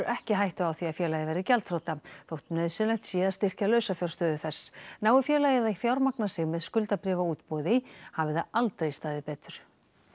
ekki hættu á því að félagið verði gjaldþrota þótt nauðsynlegt sé að styrkja lausafjárstöðu þess nái félagið að fjármagna sig með skuldabréfaútboði hafi það aldrei staðið betur